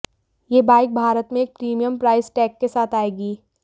यह बाइक भारत में एक प्रीमियम प्राइस टैग के साथ आएगी